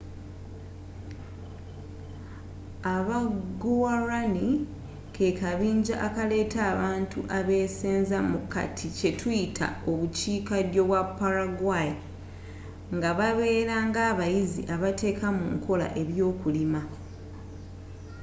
aba guarani kekabinja akaleeta abantu abeesenza mu kati kyetuyita obukiika ddyo bwa paraguay ngababeera ngabayizzi abateeka mu nkola ebyokulima